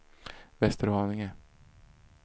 Västerhaninge